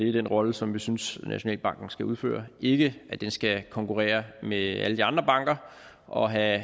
den rolle som vi synes nationalbanken skal udføre ikke at den skal konkurrere med alle de andre banker og have